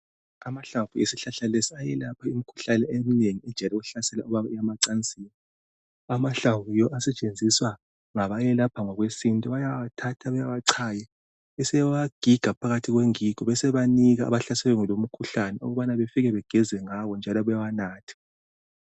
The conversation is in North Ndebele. Amahlamvu esihlahla lesi ayelapha imikhuhlane eminengi ejayele ukuhlasela ababuya emacansini. Amahlamvu yiwo asetsenziswa ngaba yelapha ngokwesintu bayawathatha bewacaye besebewa giga phakathi kwengigo besebe nika amahlaselwe yilowo mkhuhlane ukuthi befike begezengawe njalo bewanathe.